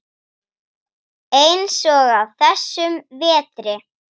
Eins og á þessum vetri.